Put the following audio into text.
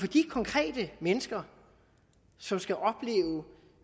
de konkrete mennesker som skal opleve